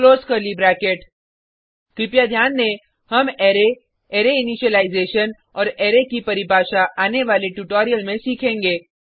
close curly bracket कृपया ध्यान दें हम अरै अरै इनीशिलाइजेशन औऱ अरै की परिभाषा आने वाले ट्यूटोरियल में सीखेंगे